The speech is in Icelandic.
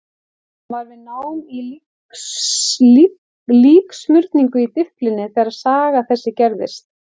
Hann var við nám í líksmurningu í Dyflinni þegar saga þessi gerðist.